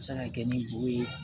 Se ka kɛ ni bo ye